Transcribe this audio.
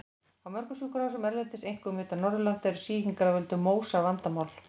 Á mörgum sjúkrahúsum erlendis, einkum utan Norðurlanda, eru sýkingar af völdum MÓSA vandamál.